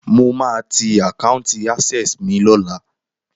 Mo máa ti àkáùntì Access mi lọ́la.